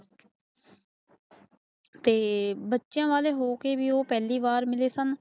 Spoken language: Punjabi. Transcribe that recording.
ਤੇ ਬੱਚਿਆਂ ਮੌਕੇ ਦੀ ਪਹਿਲੀ ਵਾਰ ਮਲੇਸਨ